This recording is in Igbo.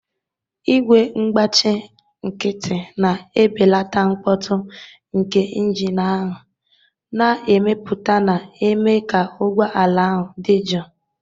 Igwe ngbachi nkịtị na-ebelata mkpọtụ nke injin ahụ na-emepụta, na-eme ka ụgbọ ala ahụ dị jụụ.